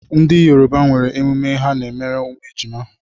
Ndị Yoruba nwere emume ha n'emere ụmụ ejima.